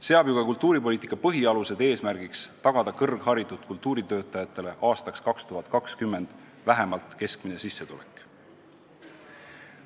Seab ju ka kultuuripoliitika põhialuste dokument eesmärgiks tagada kõrgharitud kultuuritöötajatele aastaks 2020 vähemalt keskmine sissetulek.